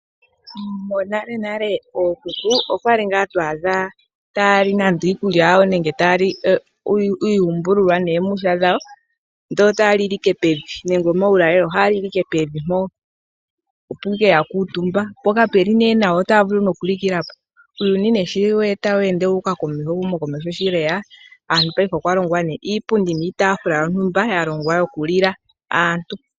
Monalenale ookuku okwali ngaa to adha aantu ta yali iikulya yawo nenge iiyumbululwa noomwihwa dhawo ndele otaya lile ike pevi nenge omaulalelo otaya lile ike pevi mpo opo ashike ya kuutumba po kamuli nawa otayavulu okulikila po. Uuyuni nduno sho tawu ende wuuka komeho ,ehumo komeho shi lyeya , okwalongwa iitaafula niipundi yokulila aantu.